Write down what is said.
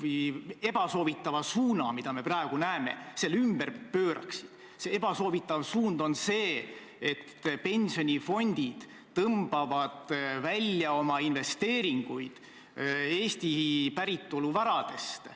Siin Toompea lossis – vabandust, Riigikogu hoone kõrval olevas Toompea lossis, need moodustavad küll ühe kompleksi – olev Valge saal on kindlasti, ma arvan, kõige auväärsem ruum, kus on koos käinud Riigikogu ja kus on koos käinud valitsus.